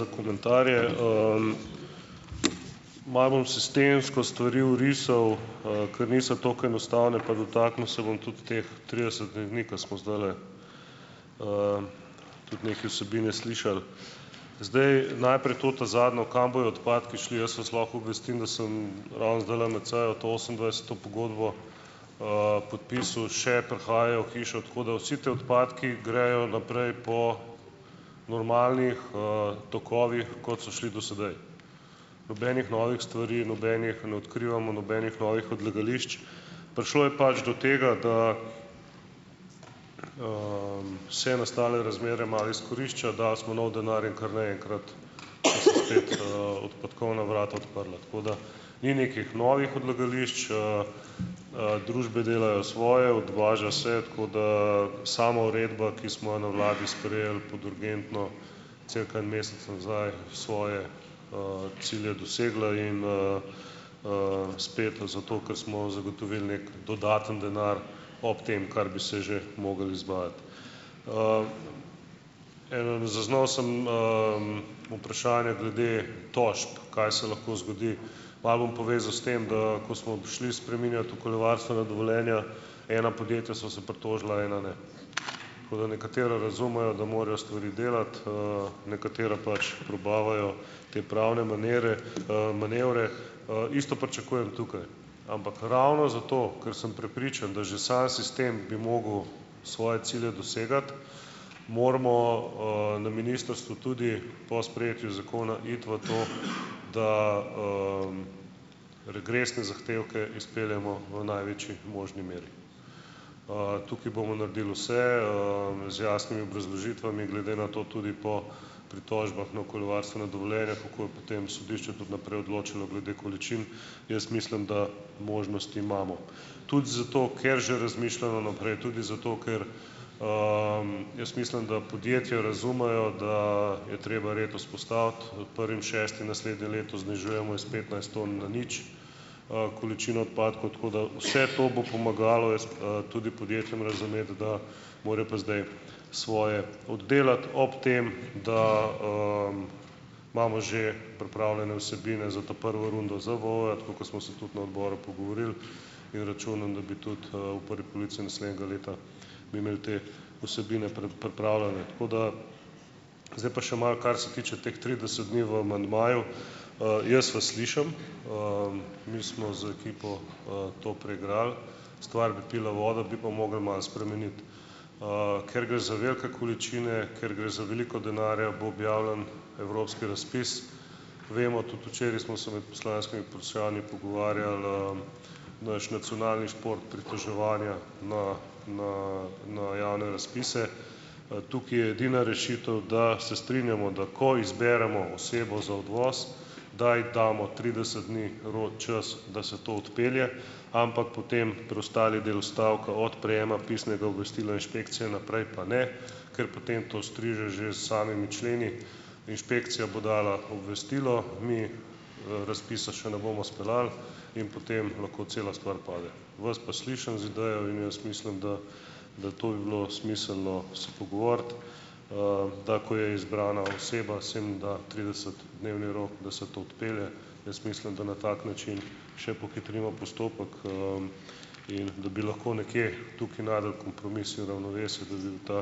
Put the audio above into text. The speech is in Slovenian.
za komentarje. Malo bom sistemsko stvari orisal, ker niso tako enostavne, pa dotaknil se bom tudi teh tridesetih dni, ko smo zdajle tudi neke vsebine slišali. Zdaj. Najprej to ta zadnjo, kam bojo odpadki šli. Jaz vas lahko obvestim, da sem ravno zdajle med sejo to osemindvajseto pogodbo, podpisal. Še prihajajo v hišo, tako da vsi ti odpadki gredo naprej po normalnih, tokovih, kot so šli do sedaj. Nobenih novih stvari, nobenih ne odkrivamo nobenih novih odlagališč. Prišlo je pač do tega, da se nastale razmere malo izkorišča, dali smo nov denar in kar naenkrat so spet, odpadkovna vrata odprla. Tako da ni nekih novih odlagališč. Družbe delajo svoje, odvaža se, tako da sama uredba, ki smo jo na vladi sprejeli pod urgentno cirka en mesec nazaj, je svoje, cilje dosegla in, spet jo zato, ker smo zagotovili neki dodatni denar ob tem, kar bi se že mogli izvajati. Zaznal sem, vprašanje glede tožb, kaj se lahko zgodi. Malo bom povezal s tem, da ko smo prišli spreminjati okoljevarstvena dovoljenja, ena podjetja so se pritožila, ena ne. Tako da ... Nekatera razumejo, da morajo stvari delati, nekatera pač probavajo te pravne manere, manevre. Isto pričakujem tukaj. Ampak ravno zato, ker sem prepričan, da že sam sistem bi mogel svoje cilje dosegati, moramo, na ministrstvu tudi po sprejetju zakona iti v to, da, regresne zahtevke izpeljemo v največji možni meri. Tukaj bomo naredili vse, z jasnimi obrazložitvami glede na to tudi po pritožbah na okoljevarstveno dovoljenje, bojo potem sodišča tudi naprej odločala glede količin. Jaz mislim, da možnosti imamo, tudi zato, ker že razmišljamo naprej, tudi zato, ker jaz mislim, da podjetja razumejo, da je treba red vzpostaviti. prvim šestim naslednje leto znižujemo iz petnajst tam na nič, količino odpadkov, tako da vse to bo pomagalo jaz, tudi podjetjem razumeti, da morajo pa zdaj svoje oddelati, ob tem, da, imamo že pripravljene vsebine za ta prvo rundo ZVO-ja, tako kot smo se tudi na odboru pogovorili, in računam, da bi tudi, v prvi polovici naslednjega leta bi imeli te vsebine pripravljene, tako da ... Zdaj pa še malo kar se tiče teh trideset dni v amandmaju. Jaz vas slišim, mi smo z ekipo, to preigrali - stvar bi pila vodo, bi pa mogli malo spremeniti. Ker gre za velike količine, ker gre za veliko denarja, bo objavljen evropski razpis. Vemo, tudi včeraj smo se med poslanskimi vprašanji pogovarjali, - naš nacionalni šport pritoževanja na na na javne razpise. Tukaj je edina rešitev, da se strinjajmo, da ko izberemo osebo za odvoz, da ji damo trideset dni rok čas, da se to odpelje, ampak potem preostali del odstavka - od prejema pisnega obvestila inšpekcije naprej pa ne, ker potem to striže že s samimi členi. Inšpekcija bo dala obvestilo, mi, razpisa še ne bomo speljali in potem lahko cela stvar pade. Vas pa slišim z idejami in jaz mislim, da da to bi bilo smiselno se pogovoriti, da ko je izbrana oseba, se jim da tridesetdnevni rok, da se to odpelje. Jaz mislim, da na tak način še pohitrimo postopek, in da bi lahko nekje tukaj našli kompromis, seveda v novesju, da bi bil ta